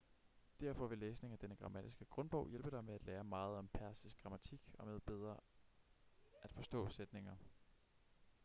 derfor vil læsning af denne grammatiske grundbog hjælpe dig med at lære meget om persisk grammatik og med bedre at forstå sætninger